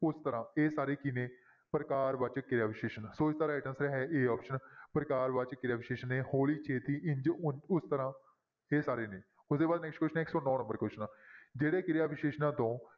ਉਸ ਤਰ੍ਹਾਂ ਇਹ ਸਾਰੇ ਕੀ ਨੇ ਪ੍ਰਕਾਰ ਵਾਚਕ ਕਿਰਿਆ ਵਿਸ਼ੇਸ਼ਣ ਸੋ ਇਸਦਾ right answer ਹੈ a option ਪ੍ਰਕਾਰ ਵਾਚਕ ਕਿਰਿਆ ਵਿਸ਼ੇਸ਼ਣ ਨੇ ਹੌਲੀ ਛੇਤੀ ਇੰਞ ਉ~ ਉਸ ਤਰ੍ਹਾਂ ਇਹ ਸਾਰੇ ਨੇ ਉਹਦੇ ਬਾਅਦ next question ਆ ਇੱਕ ਸੌ ਨੋਂ number question ਜਿਹੜੇ ਕਿਰਿਆ ਵਿਸ਼ੇਸ਼ਣਾਂ ਤੋਂ